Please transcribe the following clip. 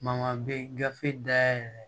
Mangan be gafe dayɛlɛ